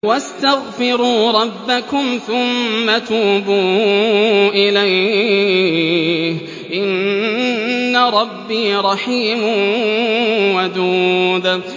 وَاسْتَغْفِرُوا رَبَّكُمْ ثُمَّ تُوبُوا إِلَيْهِ ۚ إِنَّ رَبِّي رَحِيمٌ وَدُودٌ